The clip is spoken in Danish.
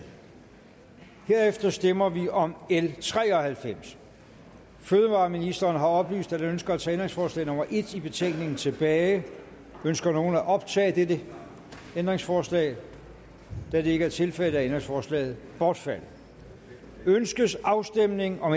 herefter stemmer vi om l tre og halvfems fødevareministeren har oplyst at han ønsker at tage ændringsforslag nummer en i betænkningen tilbage ønsker nogen at optage dette ændringsforslag da det ikke er tilfældet er ændringsforslaget bortfaldet ønskes afstemning om